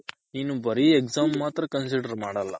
ನಿನ್ ಬರಿ Exam ಮಾತ್ರ consider ಮಾಡಲ್ಲ